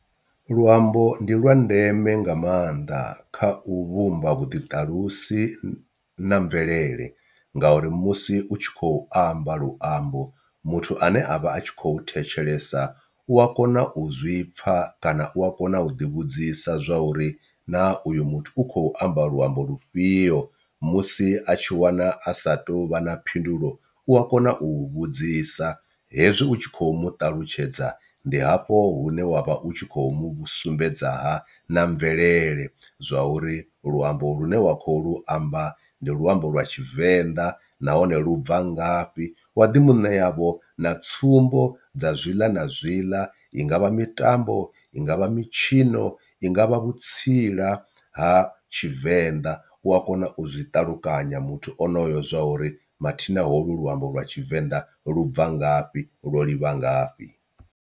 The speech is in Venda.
Luambo ndi lwa ndeme nga maanḓa kha u vhumba vhuḓiṱalusi na mvelele ngauri musi u tshi khou amba luambo muthu ane avha atshi kho thetshelesa u a kona u zwi pfha kana u a kona u ḓi vhudzisa zwa uri na uyo muthu u khou amba luambo lufhio, musi a tshi wana a sa tou vha na phindulo u a kona u vhudzisa hezwi utshi kho muṱalutshedza ndi hafho hune wavha u tshi khou mu sumbedza ha na mvelele zwa uri luambo lune wa khou lu amba ndi luambo lwa tshivenḓa nahone lu bva ngafhi u waḓi muṋe yavho na tsumbo dza zwiḽa na zwiḽa i ngavha mitambo, i ngavha mitshino, i ngavha vhutsila ha tshivenḓa u a kona u zwi ṱalukanya muthu onoyo zwa uri mathina holwu luambo lwa tshivenḓa lu bva ngafhi lwo livha ngafhi.